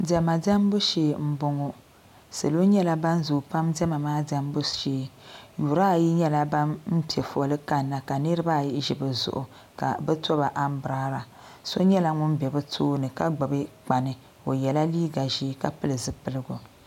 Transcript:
Diɛma diembu shee m boŋɔ salo nyɛla nan zoo diema diembu ŋɔ shee yuri ayi nyɛla ban piɛ foli kanna ka niriba ayi ʒi bɛ zuɣu ka bɛ toba ambrada so nyɛla ŋun be bɛ tooni ka gbibi kpani o yela liiga ʒee ka pili zipiligu.